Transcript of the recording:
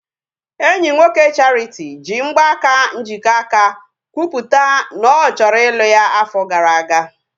Enyi nwoke Charity ji mgbaaka njikọaka kwupụta na ọ chọrọ ịlụ ya afọ gara aga